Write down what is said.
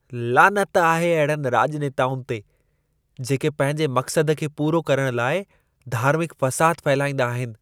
लानत आहे अहिड़नि राॼनेताउनि ते, जेके पंहिंजे मक़्सद खे पूरो करणु लाइ धार्मिक फ़साद फहिलाईंदा आहिनि।